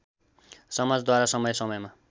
समाजद्वारा समय समयमा